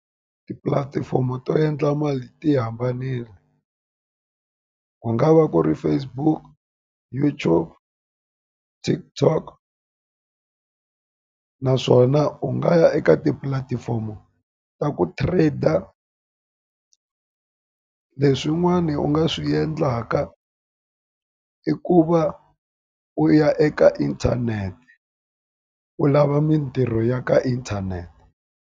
Tipulatifomo to endla mali ti yi hambanile, ku nga va ku ri Facebook, YouTube, TikTok. Naswona u nga ya eka tipulatifomo ta ku trade-a. Leswi yin'wani u nga swi endlaka i ku va u ya eka inthanete, u lava mintirho ya ka inthanete.